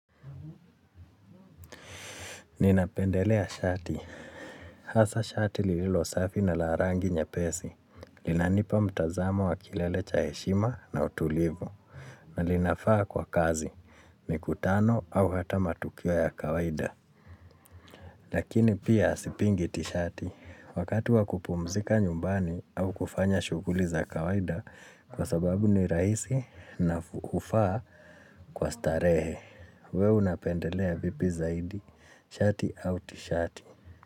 Ninapendelea shati. Hasa shati lililo safi na larangi nye pesi. Linanipa mtazamo wa kilele cha heshima na utulivu. Na linafaa kwa kazi. Mi kutano au hata matukio ya kawaida. Lakini pia sipingi tishati. Wakati wakupumzika nyumbani au kufanya shughuli za kawaida kwa sababu ni rahisi na hufaa kwa starehe. We unapendelea vipi zaidi shati au tishati.